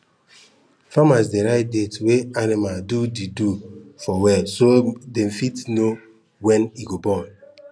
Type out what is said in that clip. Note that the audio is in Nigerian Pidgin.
farmers dey write date wey animal do the do for wall so dem fit know when e go born